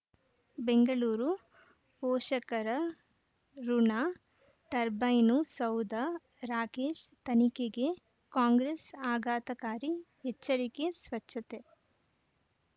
ಬೆಂಗಳೂರು ಪೋಷಕರಋಣ ಟರ್ಬೈನು ಸೌಧ ರಾಕೇಶ್ ತನಿಖೆಗೆ ಕಾಂಗ್ರೆಸ್ ಆಘಾತಕಾರಿ ಎಚ್ಚರಿಕೆ ಸ್ವಚ್ಛತೆ